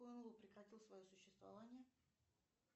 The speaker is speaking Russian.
прекратил свое существование